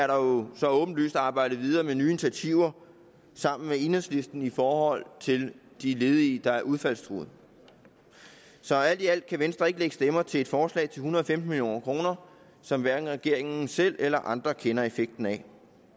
jo så åbenlyst arbejdet videre med nye initiativer sammen med enhedslisten i forhold til de ledige der er udfaldstruede så alt i alt kan venstre ikke lægge stemmer til et forslag til en hundrede og femten million kr som hverken regeringen selv eller andre kender effekten af